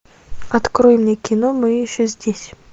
открой мне кино мы еще здесь